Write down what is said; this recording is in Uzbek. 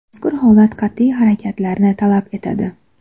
Mazkur holat qat’iy harakatlarni talab etadi.